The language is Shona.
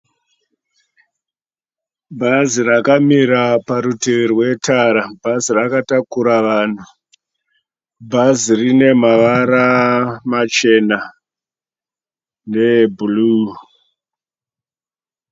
Bhazi rakamira parutivi rwetara. Bhazi rakatakura vanhu. Bhazi rine mavara machena neebhuruu.